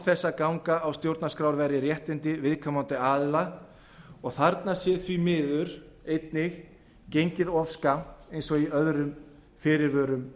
að ganga á stjórnarskrárvarin réttindi viðkomandi aðila og þarna sé því miður einnig gengið of skammt eins og í öðrum fyrirvörum